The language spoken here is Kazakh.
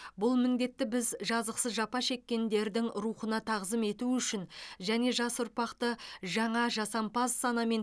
бұл міндетті біз жазықсыз жапа шеккендердің рухына тағзым ету үшін және жас ұрпақты жаңа жасампаз санамен